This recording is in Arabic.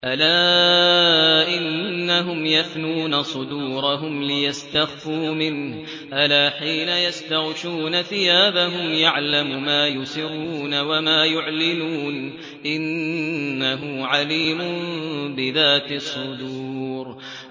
أَلَا إِنَّهُمْ يَثْنُونَ صُدُورَهُمْ لِيَسْتَخْفُوا مِنْهُ ۚ أَلَا حِينَ يَسْتَغْشُونَ ثِيَابَهُمْ يَعْلَمُ مَا يُسِرُّونَ وَمَا يُعْلِنُونَ ۚ إِنَّهُ عَلِيمٌ بِذَاتِ الصُّدُورِ